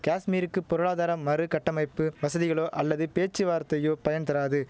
காஷ்மீருக்கு பொருளாதார மறு கட்டமைப்பு வசதிகளோ அல்லது பேச்சுவார்த்தையோ பயன் தராது